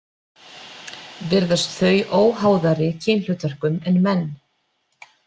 Virðast þau óháðari kynhlutverkum en menn.